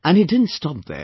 And he didn't stop there